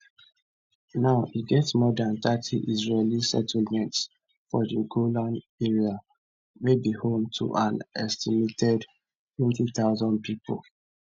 now e get more dan thirty israeli settlements for di golan area wey be home to an estimated 20000 pipo